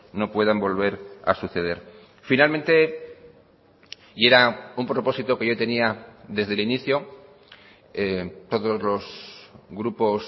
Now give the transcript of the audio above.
no puedan volver a suceder finalmente y era un propósito que yo tenía desde el inicio todos los grupos